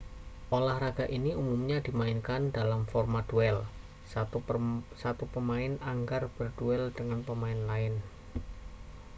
olahraga ini umumnya dimainkan dalam format duel satu pemain anggar berduel dengan pemain lain